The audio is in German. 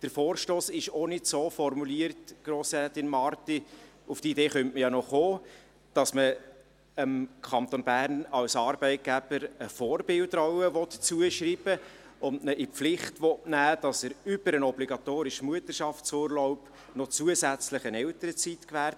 Der Vorstoss ist auch nicht so formuliert, Grossrätin Marti – auf diese Idee könnte man ja noch kommen –, dass man dem Kanton Bern als Arbeitgeber eine Vorbildrolle zuschreiben und ihn in die Pflicht nehmen will, dass er über den obligatorischen Mutterschaftsurlaub hinaus zusätzlich noch eine Elternzeit gewährt.